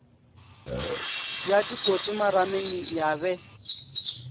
ya dikoti marameng ya be